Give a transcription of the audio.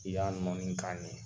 F'i ka nɔni ni kan de ye.